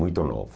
Muito novo.